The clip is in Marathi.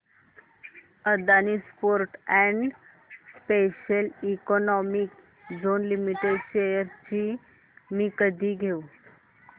Adani ports and special economic zone limited shares मी कधी घेऊ